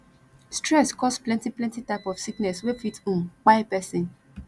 stress cause plentyplenty type of sickness wey fit um kpai pesin